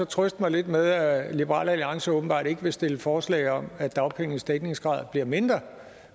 trøste mig lidt med at liberal alliance åbenbart ikke vil stille forslag om at dagpengenes dækningsgrad bliver mindre